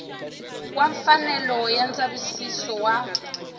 wa mfanelo ya ndzavisiso wa